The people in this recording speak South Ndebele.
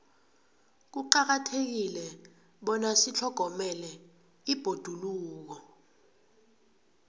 kuqakathekile bona sitlhogomele ibhoduluko